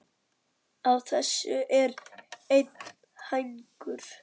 Á þessu er einn hængur.